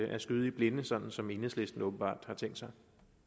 at skyde i blinde sådan som enhedslisten åbenbart har tænkt sig